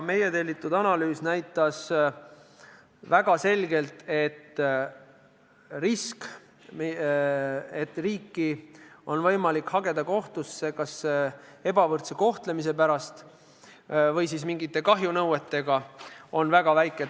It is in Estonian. Meie tellitud analüüs näitas väga selgelt, et risk, et riiki oleks võimalik hageda kas ebavõrdse kohtlemise pärast või mingite kahjunõuetega seoses, on väga väike.